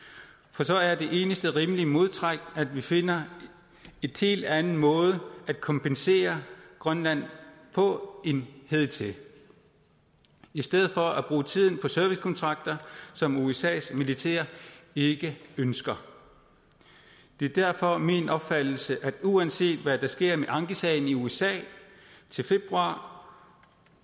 for så er det eneste rimelige modtræk at vi finder en helt anden måde at kompensere grønland på end hidtil i stedet for at bruge tiden på servicekontrakter som usas militær ikke ønsker det er derfor min opfattelse at vi uanset hvad der sker med ankesagen i usa til februar